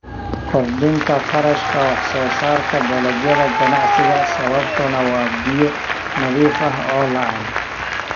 Kordhinta kharashka wax-soo-saarka dalagyada ganacsiga sababtuna waa biyo nadiif ah oo la'aan.